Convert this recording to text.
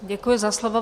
Děkuji za slovo.